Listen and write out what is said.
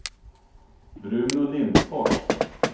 Bruno Lindfors